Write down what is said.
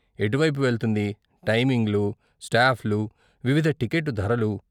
ఎటువైపు వెళ్తుంది, టైమింగ్లు, స్టాప్లు, వివిధ టికెట్టు ధరలు.